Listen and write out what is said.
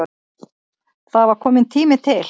Það var kominn tími til.